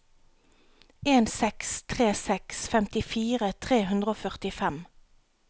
en seks tre seks femtifire tre hundre og førtifem